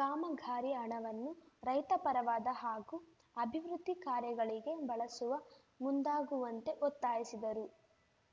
ಕಾಮಗಾರಿ ಹಣವನ್ನು ರೈತ ಪರವಾದ ಹಾಗೂ ಅಭಿವೃದ್ಧಿ ಕಾರ್ಯಗಳಿಗೆ ಬಳಸುವ ಮುಂದಾಗುವಂತೆ ಒತ್ತಾಯಿಸಿದರು